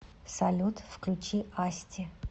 салют включи асти